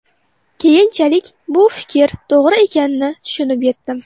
Keyinchalik bu fikr to‘g‘ri ekanini tushunib yetdim.